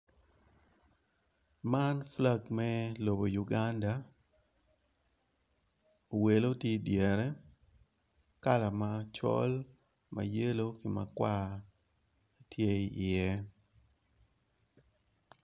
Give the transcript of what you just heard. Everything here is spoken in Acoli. Man flag me lobo Uganda owelo tye idyere kala macol mayelow ki makwar tye i ye.